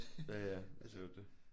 Ja ja det er jo det